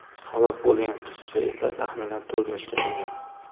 Halok bo‘lgan qizcha esa taxminan to‘rt yoshda bo‘lgan.